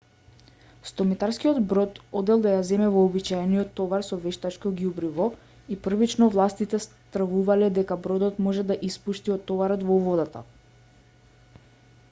100-метарскиот брод одел да ја земе вообичаениот товар со вештачко ѓубриво и првично властите стравувале дека бродот може да испушти од товарот во водата